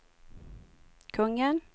kungen